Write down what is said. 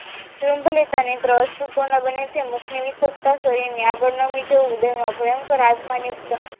શ્રુંગલીયતાને અસૃપણ બને છે મુખ ની નીસુકતા શરીરનું આગળ નમી જવું ઉદરના ભયંકર આજમા યુક્ત